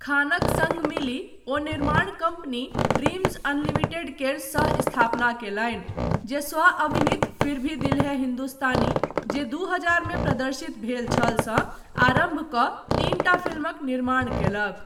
खानक सङ्ग मिलि, ओ निर्माण कम्पनी ड्रीम्ज अनलिमिटेड केर सह स्थापना कयलनि, जे स्व अभिनीत फिर भी दिल है हिन्दुस्तानी जे दू हजार मे प्रदर्शित भेल छल सँ आरम्भकऽ तीनटा फिल्मक निर्माण कयलक।